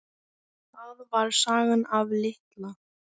Það var sagan af Litla